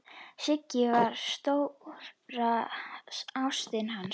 Sigga var stóra ástin hans.